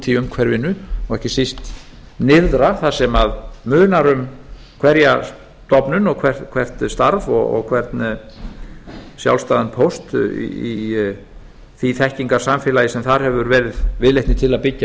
í umhverfinu og ekki síst nyrðra þar sem munar um hverja stofnun og hvert starf og hvern sjálfstæðan póst í því þekkingarsamfélagi sem þar hefur verið viðleitni til að byggja